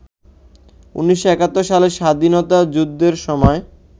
১৯৭১ সালে স্বাধীনতা যুদ্ধের সময়